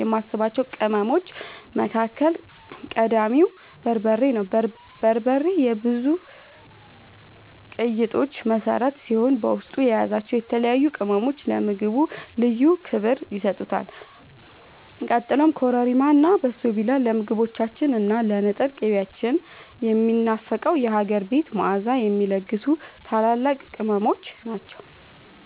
የማስባቸው ቅመሞች መካከል ቀዳሚው በርበሬ ነው። በርበሬ የብዙ ቀይ ወጦች መሠረት ሲሆን፣ በውስጡ የያዛቸው የተለያዩ ቅመሞች ለምግቡ ልዩ ክብር ይሰጡታል። ቀጥሎም ኮረሪማ እና በሶብላ ለምግቦቻችን እና ለንጥር ቅቤያችን ያንን የሚናፈቀውን የሀገር ቤት መዓዛ የሚለግሱ ታላላቅ ቅመሞች ናቸው።